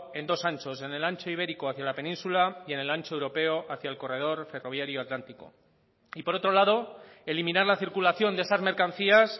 en dos anchos en el ancho ibérico hacia la península y en el ancho europeo hacia el corredor ferroviario atlántico y por otro lado eliminar la circulación de esas mercancías